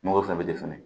Mangoro fɛnɛ bɛ di fɛnɛ